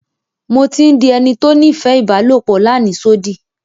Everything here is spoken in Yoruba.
Mo ti ń dí ènì tó nífẹ̀ ibàlọpò làníṣòdí.